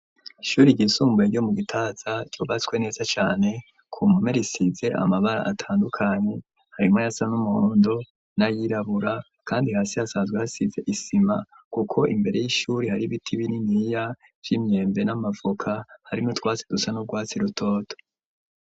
Ishuri ryisumbuye ryo mu Gitaza ryubatswe neza cane ku mpome risize amabara atandukanye harimwo ayasa n'umuhondo n'ayirabura kandi hasi hasazwe hasize isima kuko imbere y'ishuri hari biti binini vy'imyembe n'amavoka hari n'utwasi dusa n'urwatsi rutoto